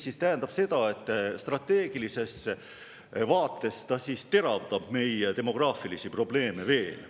See tähendab seda, et strateegilisest vaatest teravdab see meie demograafilisi probleeme veelgi.